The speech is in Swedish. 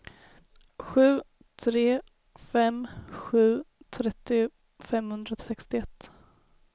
sju tre fem sju trettio femhundrasextioett